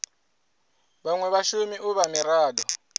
vhanwe vhashumi u vha mirado